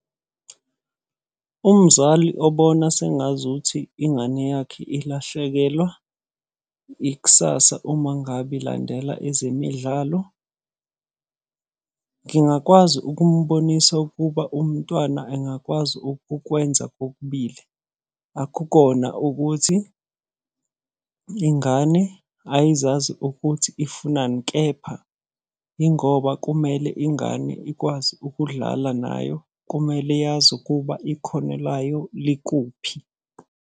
Umzali obona sengazuthi ingane yakhe ilahlekelwa ikusasa uma ngabe ilandela ezemidlalo. Ngingakwazi ukumubonisa ukuba umntwana engakwazi ukukwenza kokubili. Akukona ukuthi, ingane ayizazi ukuthi ifunani, kepha yingoba kumele ingane ikwazi ukudlala nayo. Kumele yazi ukuba ikhono layo likuphi.